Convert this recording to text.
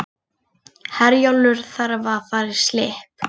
Herjólfur þarf að fara í slipp